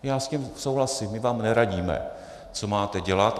Já s tím souhlasím, my vám neradíme, co máte dělat.